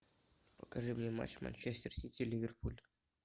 покажи мне матч манчестер сити ливерпуль